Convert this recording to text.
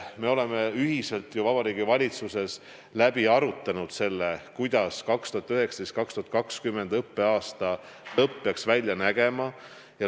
Me oleme ühiselt ju Vabariigi Valitsuses läbi arutanud, kuidas peaks 2019/2020. õppeaasta lõpp välja nägema.